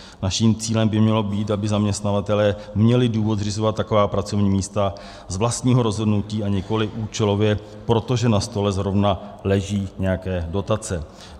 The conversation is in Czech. Naším cílem by mělo být, aby zaměstnavatelé měli důvod zřizovat taková pracovní místa z vlastního rozhodnutí, a nikoliv účelově, protože na stole zrovna leží nějaké dotace.